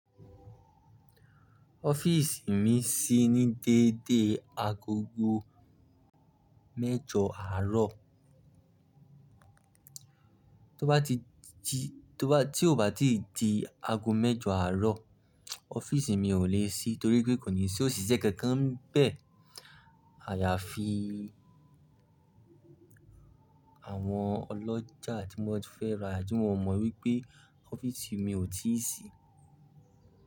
Office mi ṣí ní dédé agogo mẹ́jọ àárọ̀. Tí ó bá ti di ago mẹ́jọ àárọ̀, office mi ò lè ṣí torí pé kò ní sí òṣìṣẹ́ kankan bẹ́ẹ̀. Àyà fi àwọn ọlọ́jà tí wọn ò mọ wípé offisi mi ò ti ṣí.